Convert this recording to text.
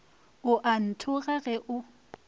o a nthoga ge o